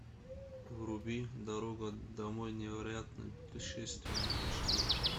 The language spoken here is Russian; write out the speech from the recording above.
вруби дорога домой невероятное путешествие аш ди